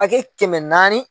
kɛmɛ naani